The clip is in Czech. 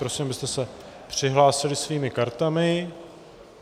Prosím, abyste se přihlásili svými kartami.